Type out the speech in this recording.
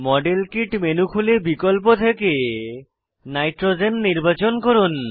model kit menu খুলে বিকল্প থেকে নাইট্রোজেন নির্বাচন করুন